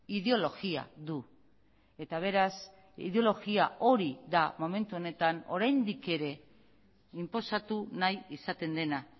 ideologia du eta beraz ideologia hori da momentu honetan oraindik ere inposatu nahi izaten dena